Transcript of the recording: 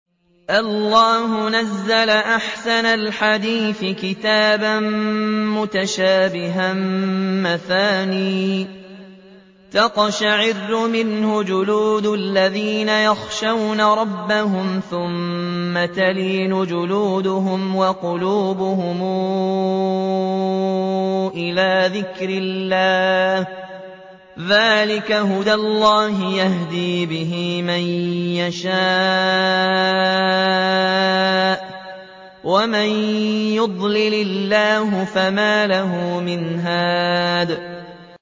اللَّهُ نَزَّلَ أَحْسَنَ الْحَدِيثِ كِتَابًا مُّتَشَابِهًا مَّثَانِيَ تَقْشَعِرُّ مِنْهُ جُلُودُ الَّذِينَ يَخْشَوْنَ رَبَّهُمْ ثُمَّ تَلِينُ جُلُودُهُمْ وَقُلُوبُهُمْ إِلَىٰ ذِكْرِ اللَّهِ ۚ ذَٰلِكَ هُدَى اللَّهِ يَهْدِي بِهِ مَن يَشَاءُ ۚ وَمَن يُضْلِلِ اللَّهُ فَمَا لَهُ مِنْ هَادٍ